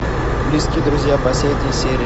близкие друзья последняя серия